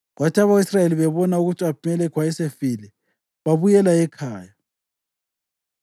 Kwathi abako-Israyeli bebona ukuthi u-Abhimelekhi wayesefile, babuyela ekhaya.